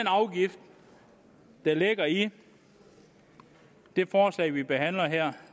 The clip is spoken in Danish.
afgift der ligger i det forslag vi behandler